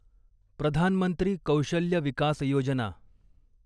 प्रधान मंत्री कौशल्य विकास योजना